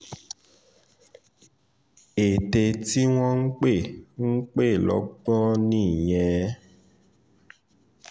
ète tí wọ́n ń pè ń pè lọ́gbọ́n nìyẹn